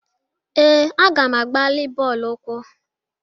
Ee, aga m a gbalị bọọlụ ụkwụ.